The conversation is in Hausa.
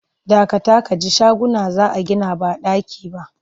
Dakata ka ji shaguna za a gina ba ɗaki ba!